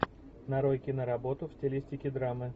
нарой киноработу в стилистике драмы